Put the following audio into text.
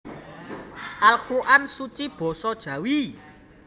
Al Quran Suci Basa Jawi